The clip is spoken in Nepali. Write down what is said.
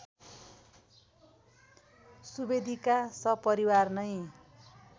सुवेदीका सपरिवार नै